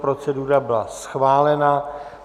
Procedura byla schválena.